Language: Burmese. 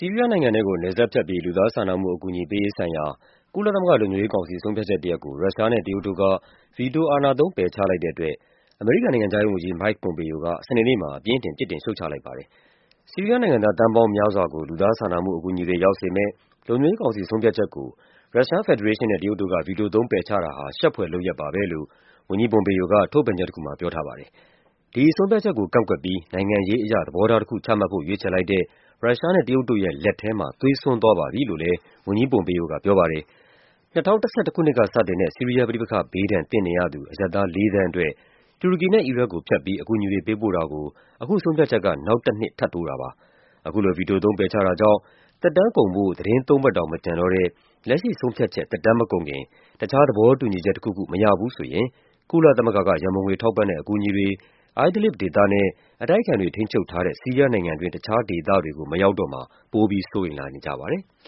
ီးရီးယားနိုင်ငံထဲကို နယ်စပ်ဖြတ်ပြီး လူသားချင်းစာနာမှု အကူအညီပေးရေးဆိုင်ရာ ကုလသမဂ္ဂ လုံခြုံရေးကောင်စီ ဆုံးဖြတ်ချက်တရပ်ကို ရုရှားနဲ့ တရုတ်တို့က ဗီတိုအာဏာသုံး ပယ်ချလိုက်တဲ့အတွက် အမေရိကန် နိုင်ငံခြားရေးဝန်ကြီး Mike Pompeo က စနေနေ့မှာ အပြင်းအထန် ပြစ်တင်ရှုတ်ချလိုက်ပါတယ်။ “ဆီးရီးယားနိုင်ငံသား သန်းပေါင်းများစွာကို လူသားချင်းစာနာမှု အကူအညီတွေ ရောက်စေမယ့် လုံခြုံရေးကောင်စီ ဆုံးဖြတ်ချက်ကို ရုရှားဖက်ဒရေးရှင်းနဲ့ တရုတ်တို့က ဗီတိုသုံး ပယ်ချတာဟာ ရှက်ဖွယ်လုပ်ရပ်ပါပဲ” လို့ ဝန်ကြီး Pompeo က ထုတ်ပြန်ချက်တခုမှာ ပြောထားပါတယ်။ “ဒီဆုံးဖြတ်ချက်ကို ကန့်ကွက်ပြီး နိုင်ငံရေးအရ သဘောထားတခု ချမှတ်ဖို့ ရွေးချယ်လိုက်တဲ့ ရုရှားနဲ့ တရုတ်တို့ရဲ့ လက်ထဲမှာ သွေးစွန်းသွားပါပြီ” လို့လည်း ဝန်ကြီး Pompeo က ပြောပါတယ်။ ၂၀၁၁ ခုနှစ်က စတင်တဲ့ ဆီးရီးယား ပဋိပက္ခဘေးဒဏ် သင့်နေရသူ အရပ်သား ၄ သန်းအတွက် တူရကီနဲ့ အီရတ်ကိုဖြတ်ပြီး အကူအညီတွေ ပေးပို့တာကို အခုဆုံးဖြတ်ချက်က နောက်တနှစ် ထပ်တိုးတာပါ။ အခုလို ဗီတိုသုံး ပယ်ချတာကြောင့် သက်တမ်းကုန်ဖို့ သီတင်းသုံးပတ်တောင် မကျန်တော့တဲ့ လက်ရှိဆုံးဖြတ်ချက် သက်တမ်းမကုန်ခင် တခြား သဘောတူညီချက်တခုခု မရဘူးဆိုရင် ကုလသမဂ္ဂက ရန်ပုံငွေထောက်ပံ့တဲ့ အကူအညီတွေ Idlib ဒေသနဲ့ အတိုက်အခံတွေ ထိန်းချုပ်ထားတဲ့ ဆီးရီးယားနိုင်ငံတွင်း တခြားဒေသတွေကို မရောက်တော့မှာ ပိုပြီး စိုးရိမ်လာကြပါတယ်။